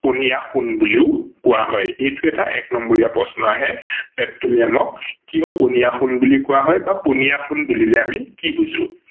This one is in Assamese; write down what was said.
পনীয়া সোণ বুলিও কোৱা হয়। এইটো এটা এক নম্বৰীয়া প্ৰশ্ন আহে পেট্ৰলিয়ামক কিয় পনীয়া সোণ বুলি কোৱা হয় বা পনীয়া সোণ বুলিলে আমি কি বুজো।